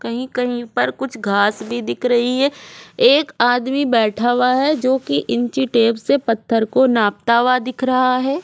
कही-कही पर कुछ घाँस भी दिख रही है एक आदमी बैठा हुआ है जो की इंची टेप से पत्थर को नापता हुआ दिख रहा है ।